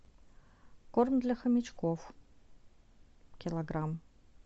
корм для хомячков килограмм